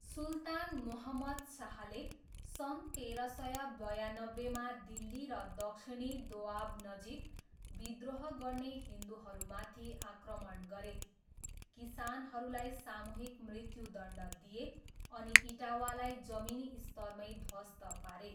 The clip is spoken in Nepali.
सुल्तान मुहम्मद शाहले सन् तेह्र सय बयान्नब्बेमा दिल्ली र दक्षिणी दोआबनजिक विद्रोह गर्ने हिन्दुहरूमाथि आक्रमण गरे, किसानहरूलाई सामूहिक मृत्युदण्ड दिए, अनि इटावालाई जमिनी स्तरमैँ ध्वस्त पारे।